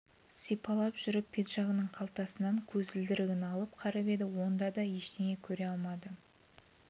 сипалап жүріп пиджагінің қалтасынан көзілдірігін алып қарап еді онда да ештеңе көре алмады